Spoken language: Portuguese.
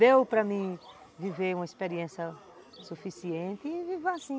Deu para mim viver uma experiência suficiente e vivo assim.